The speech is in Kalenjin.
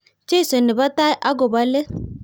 Jesu ne bo tai ak ko bo let,